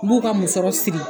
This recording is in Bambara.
N b'u ka musɔrɔ siri.